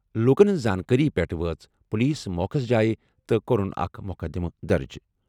لوٗکَن ہِنٛز زانٛکٲری پٮ۪ٹھ وٲژ پُلیٖس موقعہٕ جایہِ تہٕ کوٚرُن اکھ مُقدِمہٕ درٕج۔